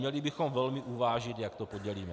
Měli bychom velmi uvážit, jak to podělíme.